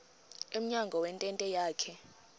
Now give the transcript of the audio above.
emnyango wentente yakhe